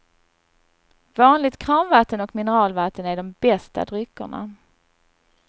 Vanligt kranvatten och mineralvatten är de bästa dryckerna.